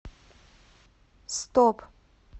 стоп